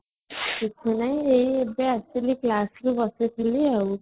ନାଇଁ ଏଇ ଏବେ ଆସିଲି class ରୁ ବସିଥିଲି ଆଉ